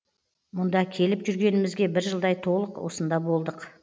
мұнда келіп жүргенімізге бір жылдай толық осында болдық